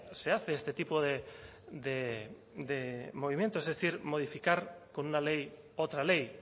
se hace este tipo de movimientos es decir modificar con una ley otra ley